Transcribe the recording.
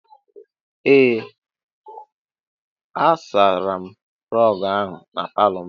Ee, a sachara m rọg ahụ n'palo m.